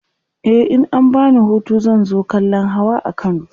e in an bani Hutu zan zo kallan Hawa a kano